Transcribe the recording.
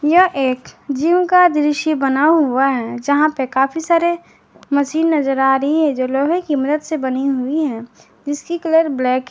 यह एक जिम का दृश्य बना हुआ है जहां पर काफी सारे मशीन नजर आ रही है जो लोहे की मदद से बनी हुई है जिसकी कलर ब्लैक है।